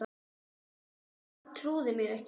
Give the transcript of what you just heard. Hann trúði mér ekki